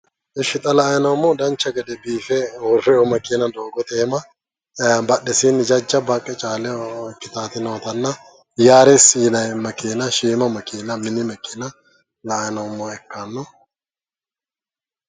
Ishshi xa la"ayi noommohu dancha gede biife uurriwo makeena doogote iima badhesiinni jajjabba haqqe caaleho ikkitaati nootanna yaaresi yinayi makeena shiima makeena mini makeena la"ayi noommoha ikkanno.